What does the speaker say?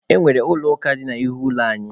E nwere Ụlọ ụka dị n'ihu ụlọ anyị.